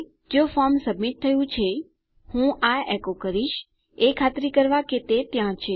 જો form submit થયું છે હું આ એકો કરીશ એ ખાતરી કરવા કે તે ત્યાં છે